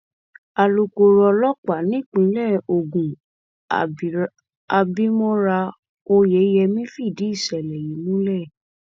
alūkóró ọlọpàá nípìnlẹ ogun abimora oyèyẹmí fìdí ìṣẹlẹ yìí múlẹ